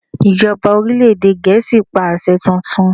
Ìjọba orílẹ̀ èdè Gèésì pa àṣẹ tuntun!